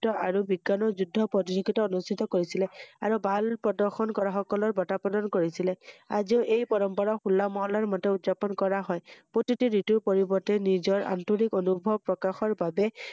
তেওঁ আৰু বিজ্ঞান যুদ্বৰ প্ৰতিযোগিতা অনুস্ঠিত কৰিছিলে৷আৰু ভাল প্ৰদৰ্শন কৰাসকলৰ বটাঁ প্ৰদান কৰিছিলে৷ আজিওঁ এই পৰম্পৰা হোলা মহল্লাৰ মতে উদযাপন কৰা হয়৷প্ৰতিটো ৰিতুৰ পৰিৰ্বতে নিজৰ আন্তৰিক অনুভৱ প্ৰকাশৰ বাবে ৷